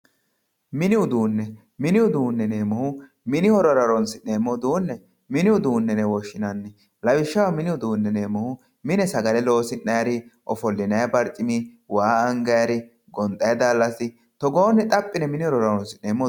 Mini uduunne mini horora horoonsi'neemmo uduunne mini uduunne yine woshshinanni lawishshaho mini uduunne yineemmohu mine sagale loosi'nay uduunne ofollinayi barcimi waa angayi uduunni gonxayi daallasi togoore xapi assine mini uduunneeti yinayi